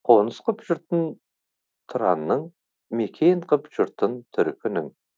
қоныс қып жұртын тұранның мекен қып жұртын түркінің